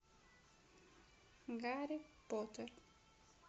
гарри поттер